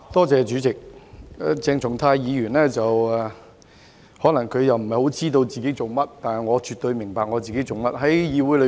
鄭松泰議員可能不太知道自己在做甚麼，但我絕對明白自己做些甚麼。